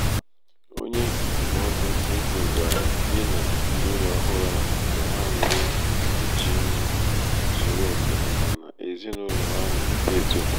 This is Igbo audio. onye ndụmọdụ ego gwara di na nwunye ọhụrụ ahụ ka ha were mkpuchi ndụ zuru oke maka ezinụlọ ha na-eto eto